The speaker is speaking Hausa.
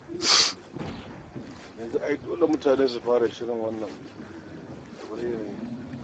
Yanzu ai dole mutane su fara shirin karɓar wannan yanayi.